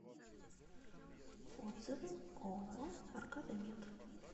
отзывы ооо аркада мед